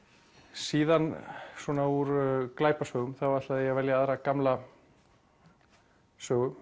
síðan svona úr glæpasögum ætla ég að velja aðra gamla sögu